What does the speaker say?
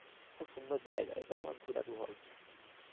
খুব সুন্দর জায়গা এটা তোমার